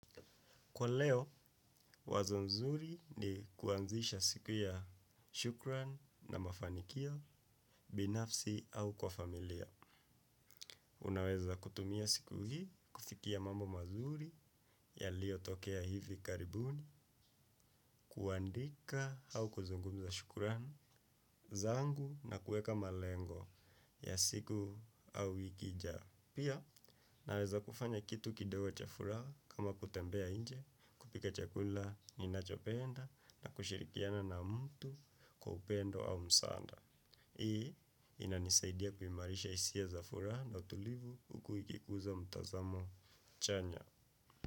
Kwa leo, wazo nzuri ni kuanzisha siku ya shukran na mafanikio, binafsi au kwa familia. Unaweza kutumia siku hii, kufikia mambo mazuri yaliyotokea hivi karibuni, kuandika au kuzungumza shukran zangu, na kueka malengo ya siku au wiki ijayo. Pia, naweza kufanya kitu kidogo cha furaha kama kutembea nje, kupika chakula ninachopenda, na kushirikiana na mtu kwa upendo au msaada. Hii, inanisaidia kuimarisha hisia za furaha na utulivu huku ikikuza mtazamo chanya.